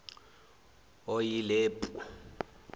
oyilepu